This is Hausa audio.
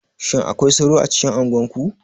Shin akwai sauro a cikin unguwa?